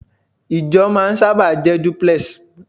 Ìjọ máa sábà jẹ́ duplex